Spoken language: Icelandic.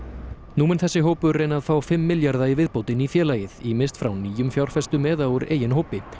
nú mun þessi hópur reyna að fá fimm milljarða í viðbót inn í félagið ýmist frá nýjum fjárfestum eða úr eigin hópi